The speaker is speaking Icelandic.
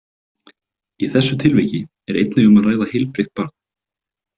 Í þessu tilviki er einnig um að ræða heilbrigt barn.